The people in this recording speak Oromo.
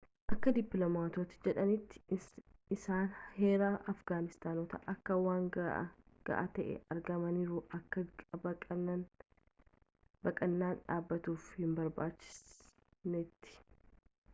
akka dippilomaatootni jedhanitti isaan heera afgaanistanoota akka waan ga'aa ta'ee argaaniruu akka baqaannan dhabatuuf hin barbaachisneetti